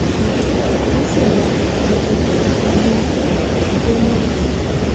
um wọn sì mọ gbogbo kọọrọ inú um igbó náà pátápátá